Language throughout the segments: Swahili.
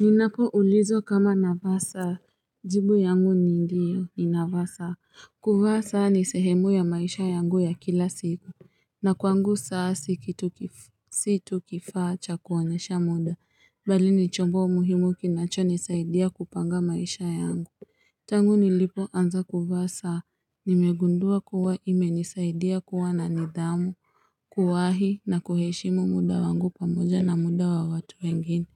Ninapo ulizwa kama napasa. Jibu yangu ni ndiyo. Ninavaa saa; kuvaa saa ni sehemu ya maisha yangu ya kila siku. Na kwangu, saa si tu kifaa cha kuonyesha muda. Bali ni chombo muhimu kinacho nisaidia kupanga maisha yangu. Tangu nilipoanza kuvaa saa, nimegundua kuwa imenisaidia kuwa na nidhamu, kuwahi na kuheshimu muda wangu pamoja na muda wa watu wengine.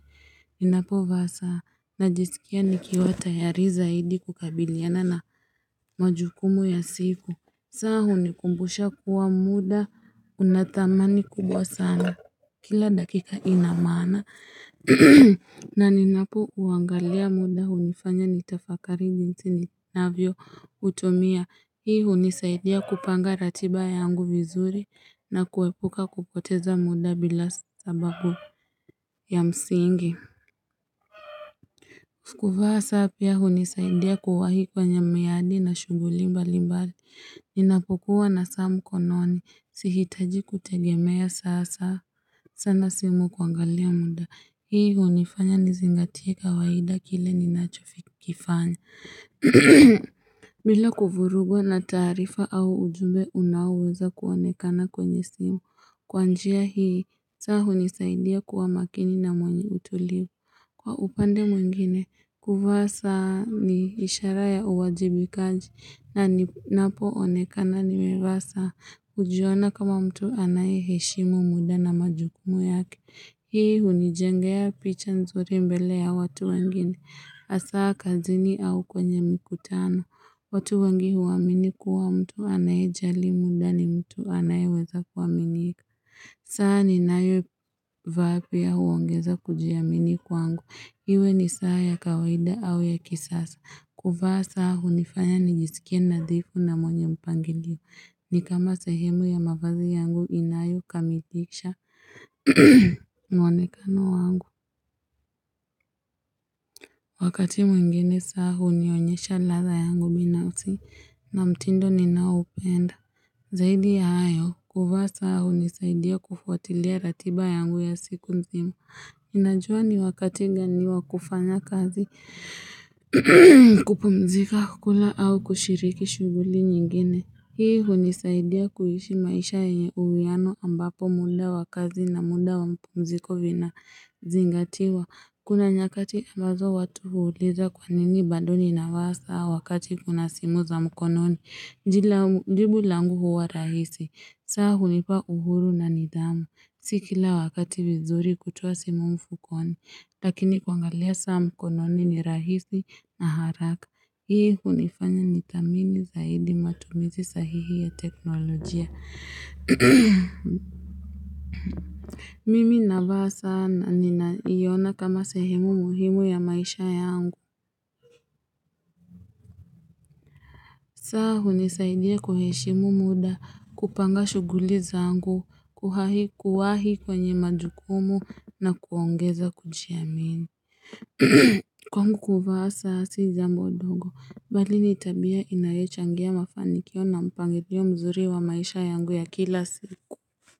Ninapovaa saa, najisikia nikiwa tayari zaidi kukabiliana na majukumu ya siku. Saa hunikumbusha kuwa muda, una thamani kubwa sana, kila dakika inamaana. Na ninapouangalia muda, hunifanya nitafakari jinsi ninavyoutumia. Hii hunisaidia kupanga ratiba yangu vizuri na kuepuka kupoteza muda bila sababu ya msingi. Kuvaa saa pia hunisaidia kuwahi kwenye miadi na shuguli mbalimbali. Ninapokua na saa mkononi. Sihitaji kutegemea sana simu kuangalia muda. Hii hunifanya nizingatie kawahida kile ninachokifanya. Bila kuvurugwa na taarifa au ujumbe unaoweza kuonekana kwenye simu. Kwanjia hii saa hunisaidia kuwa makini na mwenye utulivu. Kwa upande mwengine, kuvaa saa ni ishara ya uwajibikaji ninapoonekana nimevaa saa hujiona kama mtu anaye heshimu muda na majukumu yake. Hii hunijengea picha nzuri mbele ya watu wengine, aswa kazini au kwenye mkutano. Watu wengi huamini kuwa mtu anayejali muda ni mtu anayeweza kuaminika. Saa ni nayo vaa pia huongeza kujiamini kwangu. Iwe ni saa ya kawaida au ya kisasa. Kuvaa saa hunifanya nijisikie nadhifu na mwenye mpangilio. Ni kama sahemu ya mavazi yangu inayokamilisha mwonekano wangu. Wakati mwingine saa hunionyesha ladha yangu binafsi na mtindo ninayoupenda. Zaidi ya hayo, kuvaa saa hunisaidia kufuatilia ratiba yangu ya siku mzima. Ninajua ni wakati gani wa kufanya kazi, kupumzika, kukula au kushiriki shuguli nyingine. Hii hunisaidia kuishi maisha yenye uwiano ambapo muda wa kazi na muda wa mapumziko vinazingatiwa. Kuna nyakati ambazo watu huuliza kwa nini bado nina vaa saa wakati kuna simu za mkononi. Jibu langu huwa rahisi, saa hunipa uhuru na nidhamu, si kila wakati vizuri kutoa simu mfukoni, lakini kuangalia saa mkononi ni rahisi na haraka. Hii hunifanya nithamini zaidi matumizi sahihi ya teknolojia. Mimi navaa saa na ninaiona kama sehemu muhimu ya maisha yangu. Saa hunisaidia kuheshimu muda, kupanga shuguli zaangu, kuwahi kwenye majukumu na kuongeza kujiamini Kwangu kuvaa saa si jambo ndongo bali ni tabia inayochangia mafanikio na mpangilio mzuri wa maisha yangu ya kila siku.